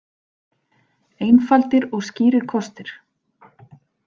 Einfaldir og skýrir kostir.